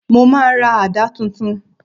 Mo máa ra àdá titun